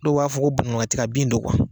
Dɔw b'a fɔ ko Bananba tiga bin do